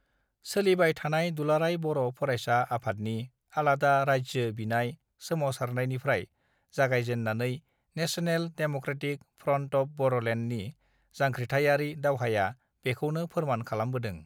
सोलिबाय थानाय दुलाराय बर फरायसा आफादनि आलादा राज्यो बिनाय सोमासारनायनिफ्राय जागायजेननानै national democratic front of बर लेण्डनि जांख्रिथाइयारि दावहाया बेखौनो फोरमान खालामबोदों